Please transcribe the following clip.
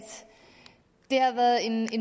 det har været en